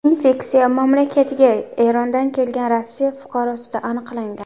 Infeksiya mamlakatga Erondan kelgan Rossiya fuqarosida aniqlangan.